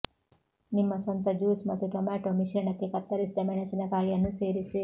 ನಿಮ್ಮ ಸ್ವಂತ ಜ್ಯೂಸ್ ಮತ್ತು ಟೊಮ್ಯಾಟೊ ಮಿಶ್ರಣಕ್ಕೆ ಕತ್ತರಿಸಿದ ಮೆಣಸಿನಕಾಯಿಯನ್ನು ಸೇರಿಸಿ